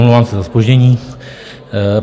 Omlouvám se za zpoždění.